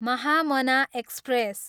Mahamana express